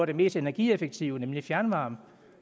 det mest energieffektive nemlig fjernvarme